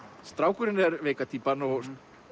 strákurinn er veika týpan og